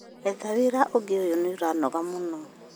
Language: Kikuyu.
Etha wĩra ũngĩ ũyũ nĩ ũranogia mũno